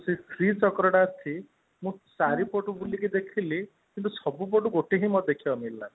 ଶ୍ରୀ ଚକ୍ର ଟା ଅଛି ମୁଁ ଚାରି ପଟୁ ବୁଲିକି ଦେଖିଲି କିନ୍ତୁ ସବୁ ପଟୁ ମତେ ଗୋଟେ ହିଁ ଦେଖିବାକୁ ମିଳିଲା